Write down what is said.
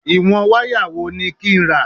Ìwọ̀n wáyà wo ni kí n rà?